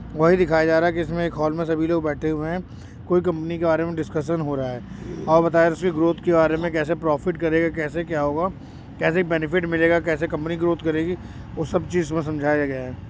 वही दिखाया जा रहा है कि इसमे हॉल मे सभी लोग बैठे हुए है। कोई कंपनी के बारे में डिस्कशन हो रहा है और बताए ग्रोथ के बारे में कैसे प्रॉफ़िट करे कैसे क्या होगा कैसे बेनेफिट मिलेगा कैसे कंपनी ग्रोथ करेगी। वो सब चीज इसमे समझाया गया है।